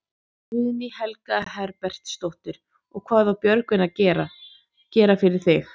Guðný Helga Herbertsdóttir: Og hvað á Björgvin að gera, gera fyrir þig?